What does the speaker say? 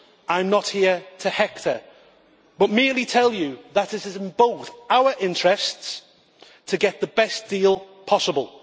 I am not here to hector, but merely to tell you that it is in both our interests to get the best deal possible.